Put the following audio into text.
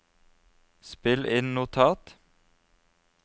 spill inn notat